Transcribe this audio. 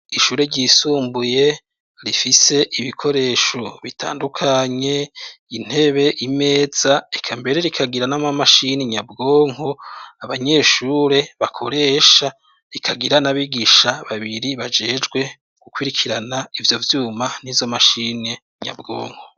Ishure ryisumbuye, rifise ibikoresho bitandukanye ,intebe ,imeza eka mbere rikagira nama mashini nyabwonko, abanyeshure bakoresha rikagira n'abigisha babiri bajejwe gukwirikirana ivyo vyuma n'izo mashini nyabwonko.